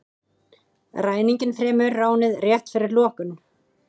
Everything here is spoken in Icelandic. Ræninginn fremur ránið rétt fyrir lokun